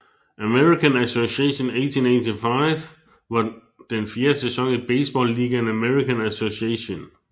American Association 1885 var den fjerde sæson i baseballligaen American Association